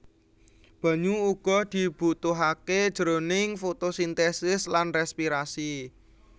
Banyu uga dibutuhaké jroning fotosintesis lan respirasi